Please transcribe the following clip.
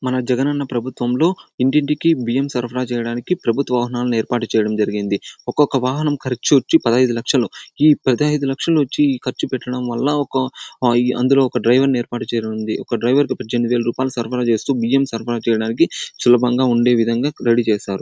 మన జగన్ అన్న ప్రభుత్వంలో ఇంటింటికి బియ్యం సరఫరా చేయడానికి ప్రభుత్వ వాహనాలను ఏర్పాటు చేయడం జరిగింది. ఒకొక్క వాహనం ఖర్చు వచ్చి పదైదు లక్షలు ఈ పదైదు లక్షలు వచ్చి ఖర్చు పెట్టడం వల్ల ఒక అందులో ఒక డ్రైవరును ఏర్పాటు చేయనుంది. ఒక డ్రైవర్ కు పజేనిమిది వేలు సరఫరా చేస్తూ బియ్యం సరఫరా చేయడానికి సులభంగా ఉండే విదంగా రెడీ చేసారు.